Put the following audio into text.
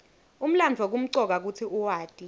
umlandvo kumcoka kutsi uwati